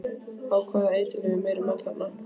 Á hvaða eiturlyfjum eru menn þarna?